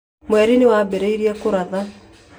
Mweri nĩ wambĩrĩirie kũratha